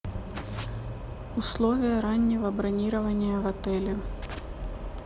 условия раннего бронирования в отеле